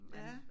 Ja